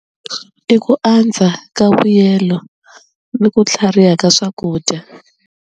I ku andza ka vuyelo ni ku tlhariha ka swakudya.